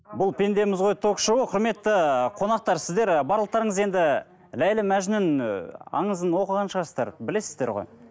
бұл пендеміз ғой ток шоуы құрметті қонақтар сіздер барлықтарыңыз енді ләйлі мәжнүн ы аңызын оқыған шығарсыздар білесіздер ғой